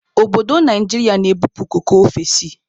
Obodo Naijiria na-ebupu koko ofesi.